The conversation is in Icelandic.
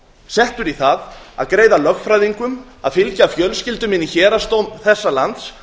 settur í það að greiða lögfræðingum að fylgja fjölskyldum inn í héraðsdóm þessa lands